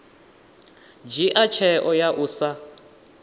dzhia tsheo ya u sa